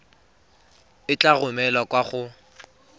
e tla romelwa kwa go